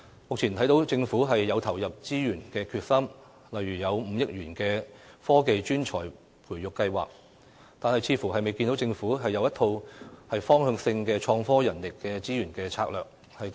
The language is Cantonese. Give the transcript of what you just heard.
目前，我看到政府有投入資源的決心，例如提出5億元的"科技專才培育計劃"，但似乎未見政府制訂一套方向性的創科人力資源策略。